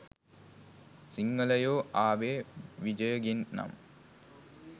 සිංහලයෝ ආවේ විජයගෙන් නම්